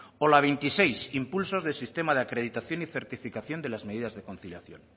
o la veintiséis impulsos de sistemas de acreditación y certificación de las medidas de conciliación